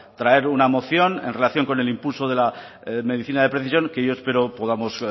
traer una moción en relación con el impulso de la medicina de precisión que yo espero podamos